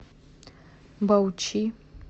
баучи